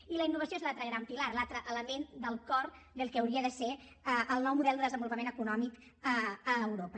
i la innovació és l’altre gran pilar l’altre element del cor del que hauria de ser el nou model de desenvolupament econòmic a europa